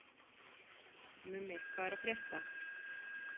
Mummi, hvað er að frétta?